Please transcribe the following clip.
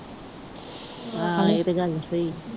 ਆਹ ਇਹ ਤੇ ਗੱਲ ਸਹੀ